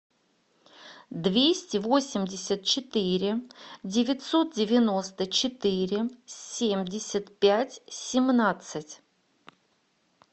двести восемьдесят четыре девятьсот девяносто четыре семьдесят пять семнадцать